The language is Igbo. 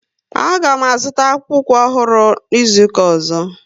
A ga m azuta akpukpu ukwu ọhụrụ n'izuka ọzọ